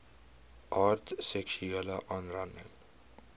aard seksuele aanranding